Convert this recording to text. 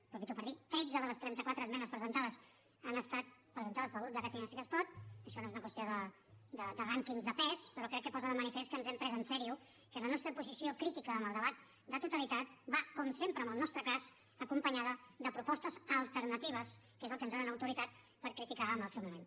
aprofito per dir tretze de les trenta quatre esmenes presentades han estat presentades pel grup de catalunya sí que es pot això no és una qüestió de rànquings de pes però crec que posa de manifest que ens ho hem pres en sèrio que la nostra posició crítica en el debat de totalitat va com sempre en el nostre cas acompanyada de propostes alternatives que és el que ens dona autoritat per criticar en el seu moment